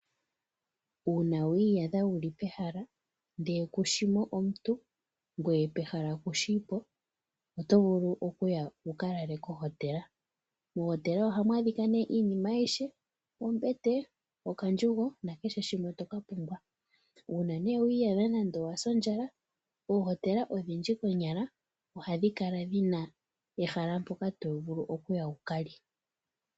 Uuna wi iyadha wu li pehala lyontumba kushi po omuntu gweye kushi mpa wu li oto vulu okuya mohotela. Mohotela ohamu kala mu na ombete, okandjugo nakehe shimwe toka pumbwa nongele owa sa ondjala oto vulu oku ya wu ka lande iikulya mohotela wu lye.